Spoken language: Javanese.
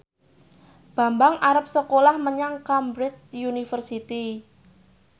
Bambang arep sekolah menyang Cambridge University